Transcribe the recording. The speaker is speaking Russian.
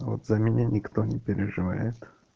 а вот за меня никто не переживает